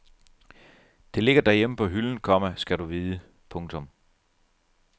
Det ligger derhjemme på hylden, komma skal du vide. punktum